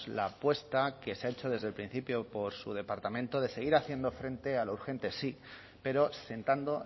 la apuesta que se ha hecho desde el principio por su departamento de seguir haciendo frente a lo urgente sí pero sentando